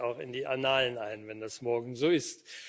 Das geht auch in die Annalen ein, wenn es morgen so ist.